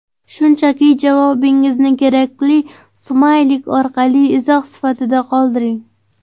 Shunchaki javobingizni kerakli smaylik orqali izoh sifatida qoldiring!